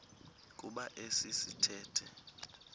kuba esi sithethe